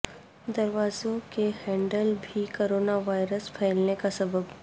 دروازوں کے ہینڈل بھی کورونا وائرس پھیلنے کا سبب